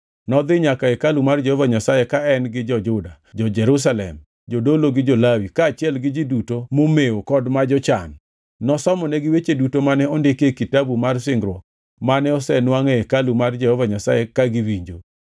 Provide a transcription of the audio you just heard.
Nodhi nyaka e hekalu mar Jehova Nyasaye ka en gi jo-Juda, jo-Jerusalem, jodolo, jo-Lawi, kaachiel gi ji duto momewo kod ma jochan. Nosomonegi weche duto mane ondiki e Kitabu mar Singruok mane osenwangʼ e hekalu mar Jehova Nyasaye ka giwinjo.